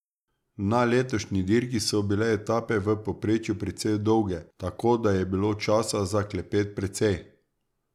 Na letošnji dirki so bile etape v povprečju precej dolge, tako da je bilo časa za klepet precej.